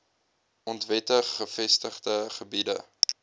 onwettig gevestigde gebiede